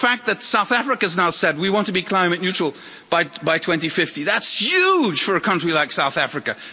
The fact that South Africa has now said we want to be climate neutral by 2050' that's huge for a country like South Africa.